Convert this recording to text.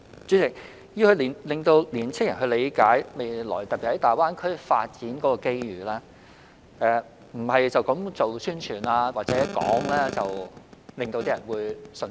主席，要令青年人理解未來，特別是在大灣區發展的機遇，不是單單宣傳或討論便能令他們信服。